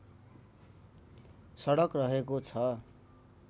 सडक रहेको छ